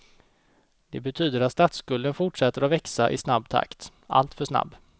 Det betyder att statsskulden fortsätter att växa i snabb takt, alltför snabb.